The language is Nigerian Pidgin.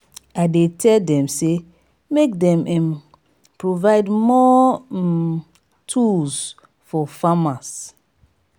i dey tell dem sey make dem um provide more um tools for farmers.